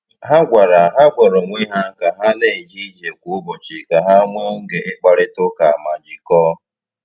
Ha gwara Ha gwara onwe ha ka ha na-eje ije kwa ụbọchị ka ha nwee oge ịkparịta ụka ma jikọọ.